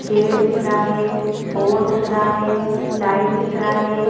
Gate दिख रहा है बोर्ड दिख रहा है लाइट दिख रहा है।